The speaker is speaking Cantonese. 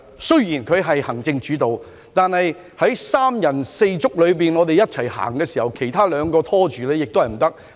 雖然香港實行行政主導，但當三人六足一起走時，其他二人如有所拖延便不行了。